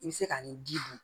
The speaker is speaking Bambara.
I bɛ se ka nin ji dun